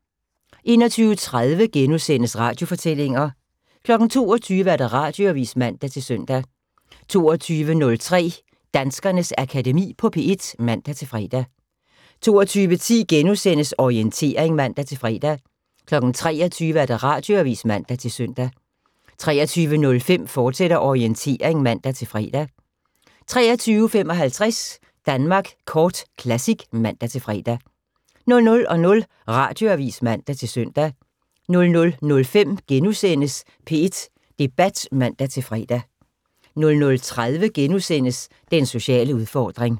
21:30: Radiofortællinger * 22:00: Radioavis (man-søn) 22:03: Danskernes Akademi på P1 (man-fre) 22:10: Orientering *(man-fre) 23:00: Radioavis (man-søn) 23:05: Orientering, fortsat (man-fre) 23:55: Danmark Kort Classic (man-fre) 00:00: Radioavis (man-søn) 00:05: P1 Debat *(man-fre) 00:30: Den sociale udfordring *